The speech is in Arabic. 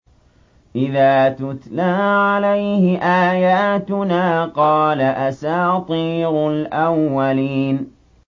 إِذَا تُتْلَىٰ عَلَيْهِ آيَاتُنَا قَالَ أَسَاطِيرُ الْأَوَّلِينَ